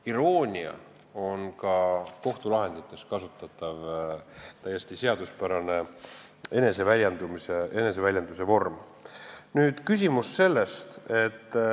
Iroonia on ka kohtulahendites kasutatav täiesti seaduspärane eneseväljenduse vorm.